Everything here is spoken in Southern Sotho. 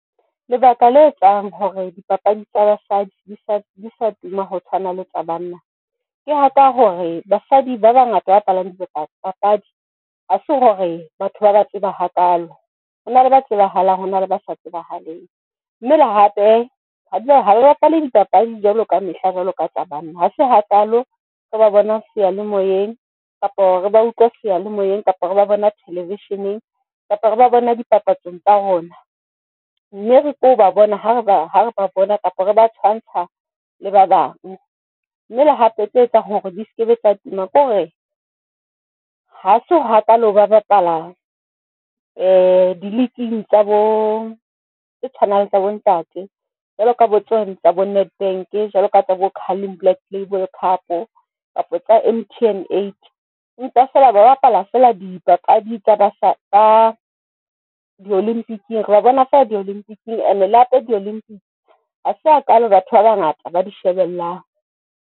Lebaka la etsang hore dipapadi tsa basadi di sa tuma ho tshwana le tsa banna, ke haka hore basadi ba bangata ba bapalang dipapadi hase hore batho ba ba tseba hakalo hona le ba tsebahalang hona le ba sa tsebahaleng, mme le hape ha re bapala dipapadi jwalo ka mehla jwalo ka tsa banna ha se hakalo re ba bona seyalemoyeng kapa hore ba utlwa seyalemoyeng kapa re ba bona thelevisheneng kapa re ba bona dipapatsong tsa rona, mme re keo ba bona ha bare ba bona kapa re ba tshwantsha le ba bang, mme le hape tse etsang hore di seke be tsa tuma. Ke hore ha se hakalo ba bapalan di-league-ng tshwanang le tsa bontate, jwalo ka bo tsona tsa bo Nedbank jwalo ka bo Carling Black Label Cup kapa tsa M_T_N eight. Empa feela ba bapala fela dipapadi tsa ba ka di Olympic-ng, re ba bona fela di Olympic-ng, ene le hape di Olympic. Ha se ha kalo batho ba bangata ba di shebellang.